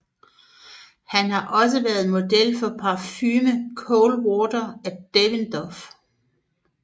Han har også været model for parfume Cool Water fra Davidoff